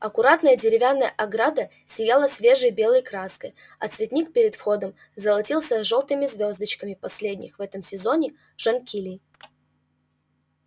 аккуратная деревянная ограда сияла свежей белой краской а цветник перед входом золотился жёлтыми звёздочками последних в этом сезоне жонкилей